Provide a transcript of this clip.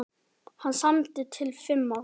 Hann samdi til fimm ára.